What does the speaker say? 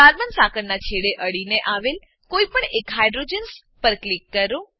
carbon સાંકળનાં છેડે અડીને આવેલ કોઈપણ એક હાઇડ્રોજન્સ પર ક્લિક કરો